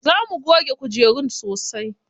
Za mu goge kujerun sosai.